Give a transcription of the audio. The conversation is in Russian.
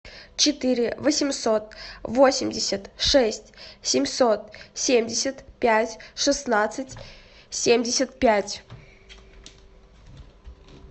четыре восемьсот восемьдесят шесть семьсот семьдесят пять шестнадцать семьдесят пять